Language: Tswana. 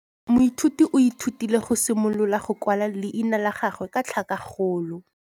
Moithuti o ithutile go simolola go kwala leina la gagwe ka tlhakakgolo.